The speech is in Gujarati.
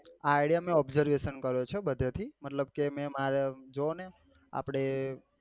idea મેં observation કર્યો છે બધે થી મતલબ કે મેં માર જોવો ને girl friend